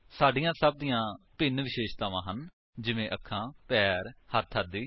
ਸਾਡੀਆਂ ਸਭ ਦੀਆਂ ਭਿੰਨ ਵਿਸ਼ੇਸ਼ਤਾਵਾਂ ਹਨ ਜਿਵੇਂ ਅੱਖਾਂ ਪੈਰ ਹੱਥ ਆਦਿ